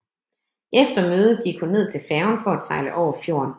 Efter mødet gik hun ned til færgen for at sejle over fjorden